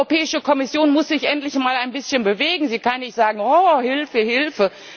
Die Europäische Kommission muss sich endlich mal ein bisschen bewegen, sie kann nicht sagen Oh Hilfe, Hilfe!